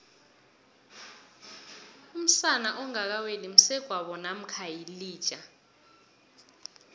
umsana ongakaweli msegwabo namkha yilija